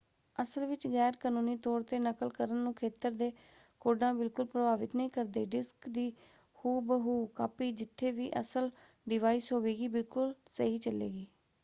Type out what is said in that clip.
ਅਸਲ ਵਿੱਚ ਗੈਰ ਕਨੂੰਨੀ ਤੌਰ 'ਤੇ ਨਕਲ ਕਰਨ ਨੂੰ ਖੇਤਰ ਦੇ ਕੋਡਾਂ ਬਿਲਕੁਲ ਪ੍ਰਭਾਵਿਤ ਨਹੀਂ ਕਰਦੇ; ਡਿਸਕ ਦੀ ਹੂ-ਬ-ਹੂ ਕਾਪੀ ਜਿੱਥੇ ਵੀ ਅਸਲ ਡਿਵਾਇਸ ਹੋਵੇਗੀ ਬਿਲਕੁਲ ਸਹੀ ਚੱਲੇਗੀ।